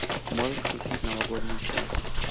можешь включить новогодние сваты